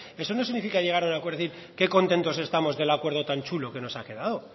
eso no significa llegar a un acuerdo y decir qué contentos estamos del acuerdo tan chulo que nos ha quedado